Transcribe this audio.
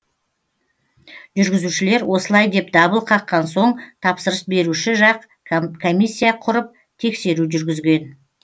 жүргізушілер осылай деп дабыл қаққан соң тапсырыс беруші жақ комиссия құрып тексеру жүргізген